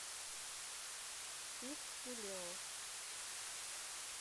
тиг и лео